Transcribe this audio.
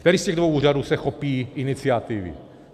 Který z těch dvou úřadů se chopí iniciativy?